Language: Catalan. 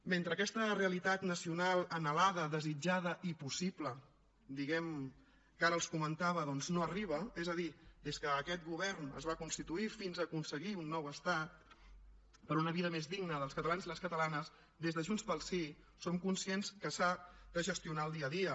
mentre aquesta realitat nacional anhelada desitjada i possible diguem ne que ara els comentava doncs no arriba és a dir des que aquest govern es va constituir fins a aconseguir un nou estat per una vida més digna dels catalans i les catalanes des de junts pel sí som conscients que s’ha de gestionar el dia a dia